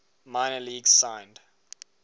minor leagues signed